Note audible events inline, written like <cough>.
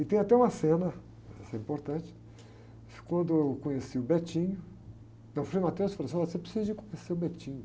E tem até uma cena, essa é importante, quando eu conheci o, <unintelligible> aí o frei <unintelligible> falou assim, olha você precisa de conhecer o. <unintelligible>